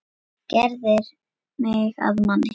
Gerðir mig að manni.